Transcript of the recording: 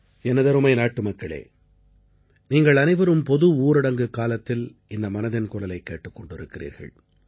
எனதருமை நாட்டுமக்களே நீங்கள் அனைவரும் பொது ஊரடங்குக் காலத்தில் இந்த மனதின் குரலைக் கேட்டுக் கொண்டிருக்கிறீர்கள்